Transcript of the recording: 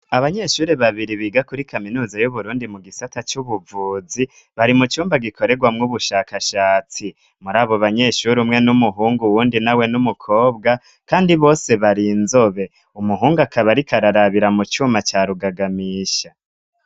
Abanyeshuri babiri biga kuri Kaminuza y'uburundi mu gisata cy'ubuvuzi, bari mu cyumba gikoregwamw'ubushakashatsi muri abo banyeshuri umwe n'umuhungu wundi na we n'umukobwa kandi bose bari inzobe umuhungu akaba rikararabira mu cuma ca rugagamisha.